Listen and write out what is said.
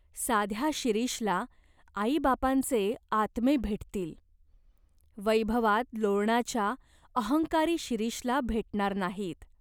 साध्या शिरीषला आईबापांचे आत्मे भेटतील. वैभवात लोळणाच्या अहंकारी शिरीषला भेटणार नाहीत.